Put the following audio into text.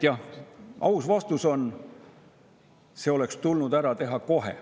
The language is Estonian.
Jah, aus vastus on: see oleks tulnud ära teha kohe.